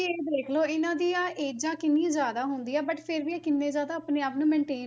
ਇਹ ਦੇਖ ਲਓ ਇਹਨਾਂ ਦੀਆਂ ਏਜਾਂ ਕਿੰਨੀ ਜ਼ਿਆਦਾ ਹੁੰਦੀਆਂ but ਫਿਰ ਵੀ ਇਹ ਕਿੰਨੇ ਜ਼ਿਆਦਾ ਆਪਣੇ ਆਪ ਨੂੰ maintain